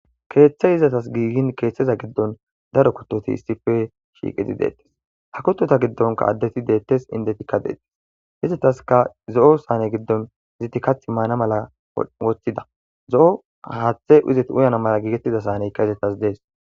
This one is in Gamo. Kethay ezatas gigin kethaza giddon darro kethoti isshippe shiqqidi de'etes. Ha kutotta giddon addeti de'etes indottikka de'etes. Ezatassikka zoo saane giddon eti kattha maana malla wottida zoo hatthe ezati uyana malla giggetida saanekka etaw de'as.